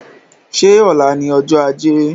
Ṣé ọ̀la ni ọjọ́ ajé?